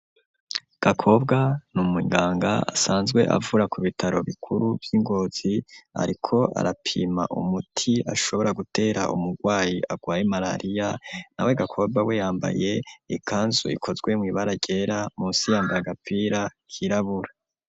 Gakobwa n'umunganga asanzwe avura ku bitaro bikuru vy'ingozi ariko arapima umuti ashobora gutera umurwayi arwaye malariya nawe Gakobwa we yambaye ikanzu ikozwe mw'ibara ryera munsi yambara agapira kirabura.